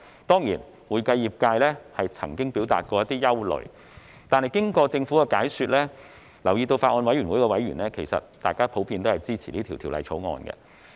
當然，會計業界曾表達一些憂慮，但經過政府的解說後，我留意到法案委員會的委員普遍支持《條例草案》。